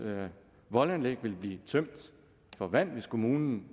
voldanlæg vil blive tømt for vand hvis kommunen